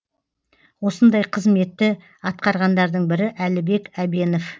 осындай қызметті атқарғандардың бірі әлібек әбенов